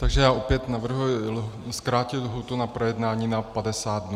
Takže já opět navrhuji zkrátit lhůtu na projednání na 50 dnů.